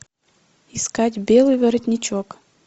искать белый воротничок